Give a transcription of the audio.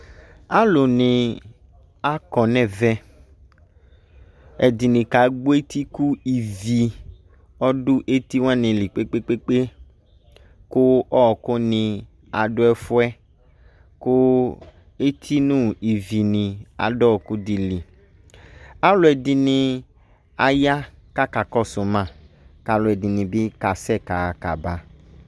Alu ne akɔ nevɛ Ɛde ne ka gbɔ eti ko ivi ɔdo eti wa ne li gbegbegbegbe, ko ɔku ne ado ɛfuɛ, ko eti no ivi ne ado ɔku de li Aluɛde ne aye ka kakɔso ma kaluɛde ne be kaaɛ kaha kaa ba